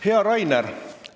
Hea Rainer!